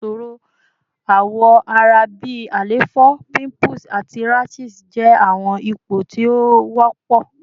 Awọn iṣoro awọ ara bi àléfọ, pimples, ati rashes jẹ awọn ipo ti o wọpọ